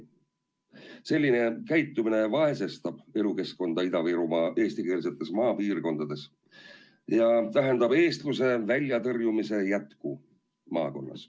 Selline käitumine vaesestab elukeskkonda Ida-Virumaa eestikeelsetes maapiirkondades ja tähendab eestluse väljatõrjumise jätku maakonnas.